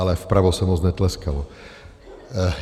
Ale vpravo se moc netleskalo.